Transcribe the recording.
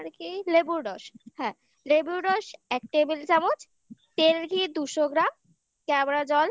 কি লেবুর রস হ্যাঁ লেবুর রস এক table চামচ তেল ঘি দুশো গ্রাম কেওড়া জল